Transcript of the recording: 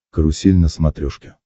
карусель на смотрешке